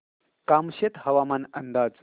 कामशेत हवामान अंदाज